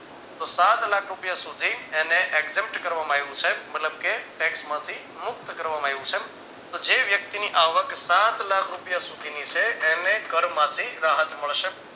સાત લાખ રૂપિયા સુધી એને accent કરવામાં આવ્યું છે મતલબ કે tax માંથી મુક્ત કરવામાં આવ્યું છે તો જે વ્યક્તિની આવક સાત લાખ રૂપિયા સુધી ની છે એને કરમાંથી રાહત મળશે